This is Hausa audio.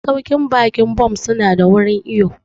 Masauƙin baƙi Bon su na da wurin iwo